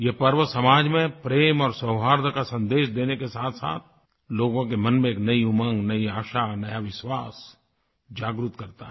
यह पर्व समाज में प्रेम और सौहार्द का सन्देश देने के साथसाथ लोगों के मन में एक नयी उमंग नयी आशा नया विश्वास जागृत करता है